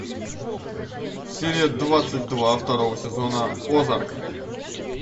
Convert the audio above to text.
серия двадцать два второго сезона озарк